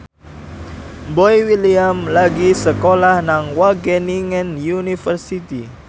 Boy William lagi sekolah nang Wageningen University